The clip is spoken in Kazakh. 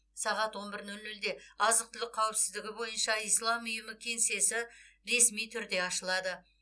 сағат он бір нөл нөлде азық түлік қауіпсіздігі бойынша ислам ұйымы кеңсесі ресми түрде ашылады